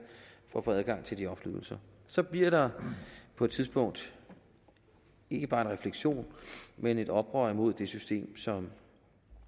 for at få adgang til de offentlige ydelser så bliver der på et tidspunkt ikke bare en refleksion men et oprør imod det system som